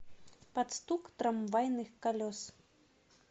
под стук трамвайных колес